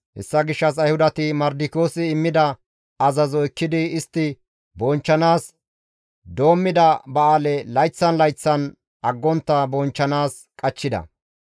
Hessa gishshas Ayhudati Mardikiyoosi immida azazo ekkidi istti bonchchanaas doommida ba7aale layththan layththan aggontta bonchchanaas qachchida.